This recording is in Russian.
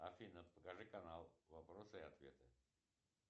афина покажи канал вопросы и ответы